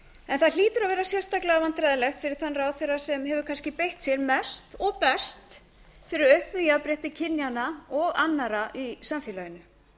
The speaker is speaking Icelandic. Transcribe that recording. en það hlýtur að vera sérstaklega vandræðalegt fyrir þann ráðherra sem hefur kannski beitt sér mest og best fyrir auknu jafnrétti kynjanna og annarra í samfélaginu